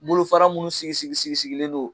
Mulufara munnu sigi sigi sigi sigilen non